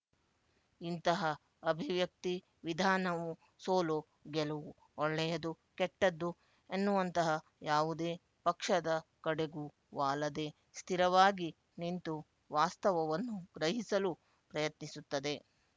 ಇಂತಹ ಅಭಿವ್ಯಕ್ತಿ ವಿಧಾನವು ಸೋಲುಗೆಲುವು ಒಳ್ಳೆಯದು ಕೆಟ್ಟದ್ದು ಎನ್ನುವಂತಹ ಯಾವುದೇ ಪಕ್ಷದ ಕಡೆಗೂ ವಾಲದೆ ಸ್ಥಿರವಾಗಿ ನಿಂತು ವಾಸ್ತವವನ್ನು ಗ್ರಹಿಸಲು ಪ್ರಯತ್ನಿಸುತ್ತದೆ